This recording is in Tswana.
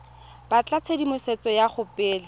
batla tshedimosetso go ya pele